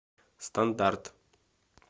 стандарт